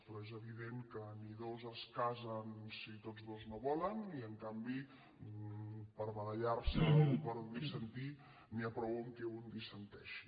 però és evident que ni dos es casen si tots dos no volen i en canvi per barallarse o per dissentir n’hi ha prou que un dissenteixi